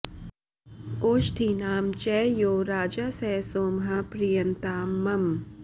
ओषधीनां च यो राजा स सोमः प्रीयतां मम